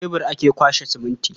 Da shebur ake kwaɓa siminti.